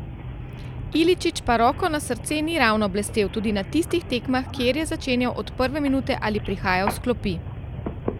Iličić pa, roko na srce, ni ravno blestel tudi na tistih tekmah kjer je začenjal od prve minute ali prihajal s klopi.